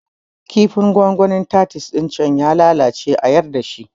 Kifin gongonin titus ɗin can ya lalace a yarda shi